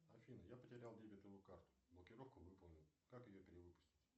афина я потерял дебетовую карту блокировку выполнил как ее перевыпустить